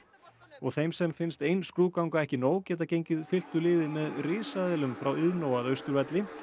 og þeim sem finnst ein skrúðganga ekki nóg geta gengið fylktu liði með risaeðlum frá Iðnó að Austurvelli